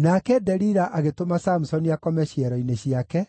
Nake Delila agĩtũma Samusoni akome ciero-inĩ ciake,